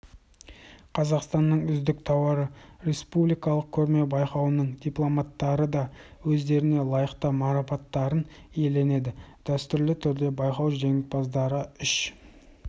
қазақстанның үздік тауары республикалық көрме-байқауының дипломанттары да өздеріне лайықты марапаттарын иеленеді дәстүрлі түрде байқау жеңімпаздары үш